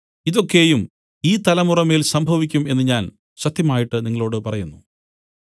ഇതൊക്കെയും ഈ തലമുറമേൽ സംഭവിക്കും എന്നു ഞാൻ സത്യമായിട്ട് നിങ്ങളോടു പറയുന്നു